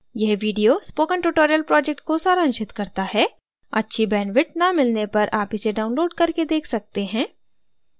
यह video spoken tutorial project को सारांशित करता है अच्छी bandwidth न मिलने पर आप इसे download करके देख सकते हैं